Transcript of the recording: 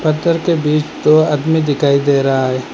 पत्थर के बीच दो आदमी दिखाई दे रहा है।